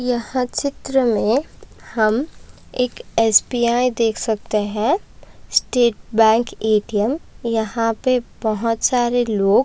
यह हर चित्र में हम एक एस.बी.आई देख सकते है स्टेट बैंक ऐ.टी.एम यहाँ पे बहुत सारे लोग --